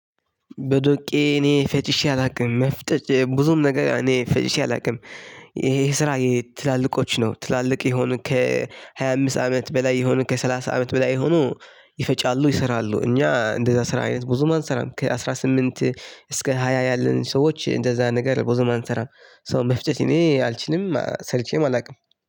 በዶቄ እኔ ፈጭሼ አላውቅም መፍጠጥ ብዙም ነገር እኔ ፈጭሼ አላውቅም። ይሄ ስራ የትላልቆች ነው ትላልቅ የሆኑ ከሀያአምስት አመት በላይ የሆኑ ከሰላሳ አመት በላይ የሆኑ ይፈጫሉ ይሰራሉ። እኛ እንደዛ ስራ አይነት ብዙ ማን እንሰራም ከአስራ ስምንት እስከ ሃያ ያለን ሰዎች እንደዛ ነገር ብዙም አንሰራም። ሶ መፍጨት እኔ አልችልም ሰርቼም አላውቅም